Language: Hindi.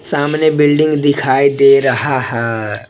सामने बिल्डिंग दिखाई दे रहा है।